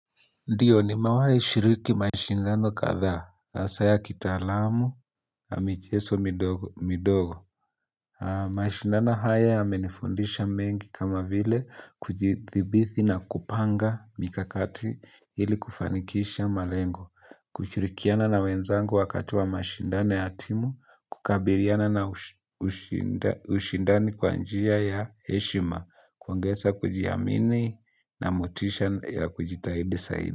Ndiyo nimewai shiriki mashindano kadhaa, hasa ya kitaalamu, na michezo midogo. Mashindano haya yamenifundisha mengi kama vile kujidhibiti na kupanga mikakati ili kufanikisha malengo. Kushirikiana na wenzangu wakati wa mashindano ya timu, kukabiliana na ushindani kwanjia ya heshima, kuongeza kujiamini na motisha ya kujitahidi zaidi.